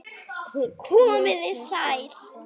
Komiði sæl!